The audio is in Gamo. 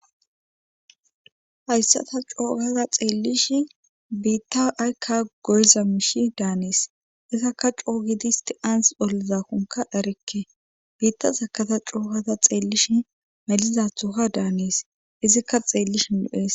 hayssa ta coogada xeellishi biitta aykka goyza mishi daanees izakka coo gidisti anzi ollizakonka dharekke biitta sakaza cookaza xeellish melizathoka daanees izikka xeellishin lo7ees.